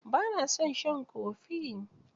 Ba na son shan kofi.